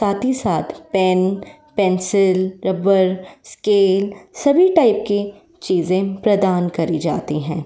साथ ही साथ पेन पेंसिल रबड़ स्केल सभी टाइप की चीजे प्रदान की जाती हैं।